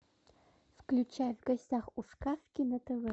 включай в гостях у сказки на тв